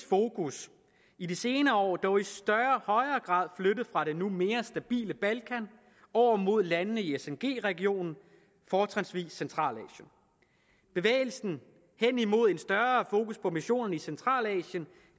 fokus i de senere år dog i højere grad flyttet fra det nu mere stabile balkan over mod landene i sng regionen fortrinsvis i centralasien bevægelsen hen imod en større fokus på missionerne i centralasien